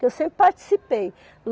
Que eu sempre participei.